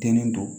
Den don